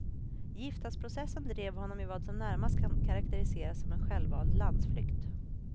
Giftasprocessen drev honom i vad som närmast kan karakteriseras som en självvald landsflykt.